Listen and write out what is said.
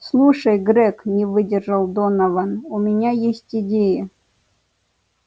слушай грег не выдержал донован у меня есть идея